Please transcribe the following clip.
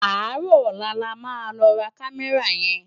Áàrò òlá lá má lò rá Kàmèrá yèn